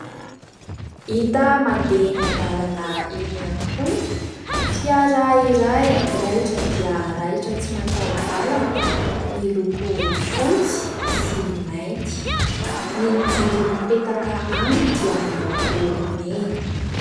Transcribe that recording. Hita mandeha eny an-dalana eny ihany koa, fiara iray raitra dia raitra, tsy mataho-dalana, miloko fotsy sy mainty ; ny jiro mipetaka aminy dia miloko mena.